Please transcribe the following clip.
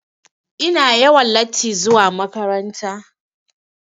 Ina yawan latti zuwa makaranta.